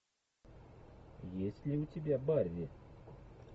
есть ли у тебя барри